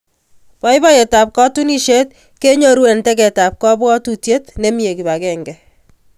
Boiboiyetab katunisiet kenyoru eng tegetab kabwatutiet nemie kip agenge